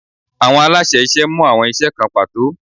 Awọn alaṣẹ iṣẹ mu awọn iṣẹ kan pato